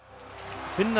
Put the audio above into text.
Finnar